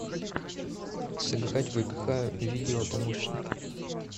сыграть в игра видео помощник